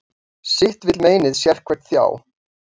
Sitt vill meinið sérhvern þjá.